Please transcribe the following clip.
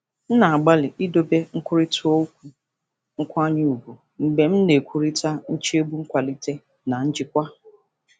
M na-agbalị idobe nkwurịta okwu nkwanye ùgwù mgbe m na-ekwurịta nchegbu nkwalite na njikwa.